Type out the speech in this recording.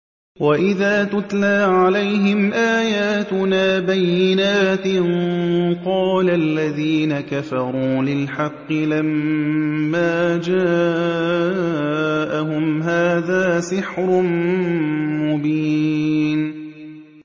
وَإِذَا تُتْلَىٰ عَلَيْهِمْ آيَاتُنَا بَيِّنَاتٍ قَالَ الَّذِينَ كَفَرُوا لِلْحَقِّ لَمَّا جَاءَهُمْ هَٰذَا سِحْرٌ مُّبِينٌ